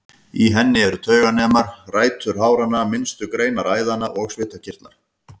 Í henni eru tauganemar, rætur háranna, minnstu greinar æðanna og svitakirtlar.